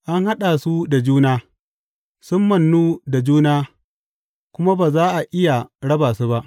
An haɗa su da juna sun mannu da juna kuma ba za a iya raba su ba.